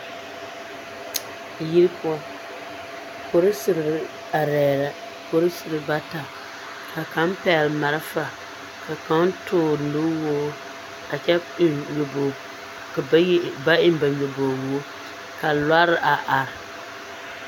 Yiri poɔ, porisiri arɛɛ la, porisiri bata ka kaŋ pɛgele malfa ka kaŋ toore nu woore a kyɛ eŋ nyobogi ka bayi ba eŋ ba nyobogi woore ka lɔre a are.